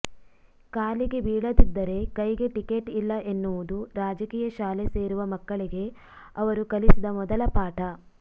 ಕಾಲಿಗೆ ಬೀಳದಿದ್ದರೆ ಕೈಗೆ ಟಿಕೆಟ್ ಇಲ್ಲ ಎನ್ನುವುದು ರಾಜಕೀಯ ಶಾಲೆ ಸೇರುವ ಮಕ್ಕಳಿಗೆ ಅವರು ಕಲಿಸಿದ ಮೊದಲ ಪಾಠ